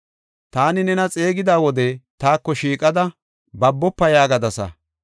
Taani nena xeegida wode taako shiiqada, “Babofa” yaagadasa.